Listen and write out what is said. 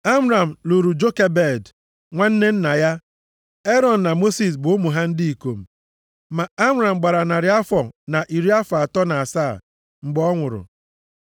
Amram lụrụ Jokebed, nwanne nna ya. Erọn na Mosis bụ ụmụ ha ndị ikom. Ma Amram gbara narị afọ na iri afọ atọ na asaa mgbe ọ nwụrụ.